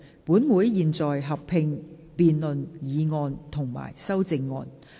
本會現在合併辯論議案及修正案。